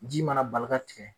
Ji mana bali ka tigɛ